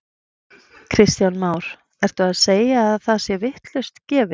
Kristján Már: Ertu að segja að það sé vitlaust gefið?